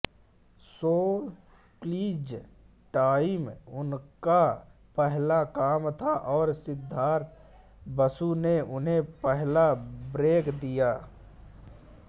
show quiz time उनका पहला काम था और सिद्धार्थ बसु ने उन्हें पहला ब्रेक दिया